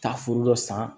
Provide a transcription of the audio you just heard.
Taa foro dɔ san